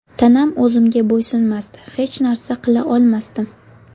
Tanam o‘zimga bo‘ysunmasdi, hech narsa qila olmasdim.